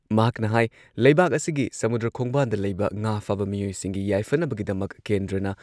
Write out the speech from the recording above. ꯃꯍꯥꯛꯅ ꯍꯥꯏ ꯂꯩꯕꯥꯛ ꯑꯁꯤꯒꯤ ꯁꯃꯨꯗ꯭ꯔ ꯈꯣꯡꯕꯥꯟꯗ ꯂꯩꯕ ꯉꯥ ꯐꯥꯕ ꯃꯤꯑꯣꯏꯁꯤꯡꯒꯤ ꯌꯥꯏꯐꯅꯕꯒꯤꯗꯃꯛ ꯀꯦꯟꯗ꯭ꯔꯅ